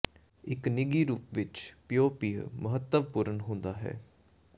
ਇੱਕ ਨਿੱਘੀ ਰੂਪ ਵਿੱਚ ਪੀਓ ਪੀਹ ਮਹੱਤਵਪੂਰਣ ਹੁੰਦਾ ਹੈ